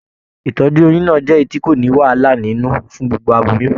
Ìtọjú oyún náà jẹ èyí tí kò ní wàhálà nínú fún gbogbo aboyún.